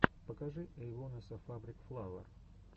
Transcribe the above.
покажи эйвонесса фабрик флауэр